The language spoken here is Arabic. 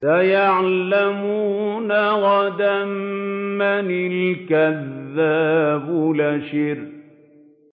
سَيَعْلَمُونَ غَدًا مَّنِ الْكَذَّابُ الْأَشِرُ